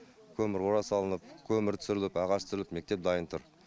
көмір қора салынып көмір түсіріліп ағаш түсіріліп мектеп дайын тұр